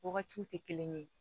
Wagatiw tɛ kelen ye